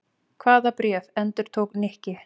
Hvaða bréf? endurtók Nikki.